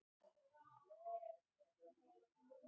Afþví annað væri ólíkt henni þegar nýgræðingur á í hlut.